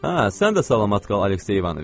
A, sən də salamat qal, Aleksey İvanoviç.